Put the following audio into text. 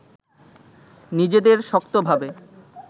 নিজেদের শক্তভাবে